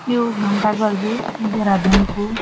यू घंटाघर जु देहरादून कु।